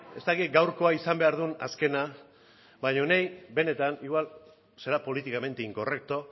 ez dakit gaurkoa izan behar duen azkena baina niri benetan igual será políticamente incorrecto